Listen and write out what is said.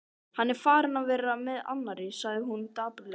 Hann er farinn að vera með annarri, sagði hún dapurlega.